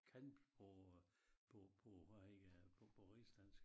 Kan på øh på på hvad heddet det på på rigsdansk